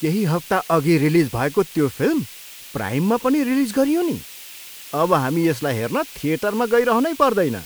केही हप्ताअघि रिलिज भएको त्यो फिल्म प्राइममा पनि रिलिज गरियो नि! अब हामी यसलाई हेर्न थिएटरमा गइरहनै पर्दैन!